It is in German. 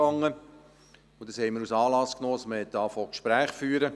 Dies haben wir zum Anlass genommen, um damit anzufangen, Gespräche zu führen.